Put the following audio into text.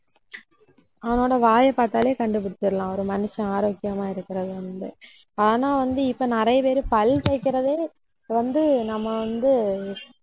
அவனோட வாயைப் பார்த்தாலே கண்டு பிடிச்சிடலாம். ஒரு மனுஷன் ஆரோக்கியமா இருக்கிறத வந்து. ஆனா வந்து இப்போ நிறைய பேரு பல் தேய்க்கிறதே வந்து நம்ம வந்து